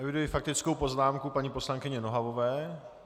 Eviduji faktickou poznámku paní poslankyně Nohavové.